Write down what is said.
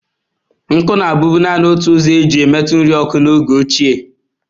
Nkụ na-abụbu naanị ụzọ e ji emetu nri oku n’oge ochie.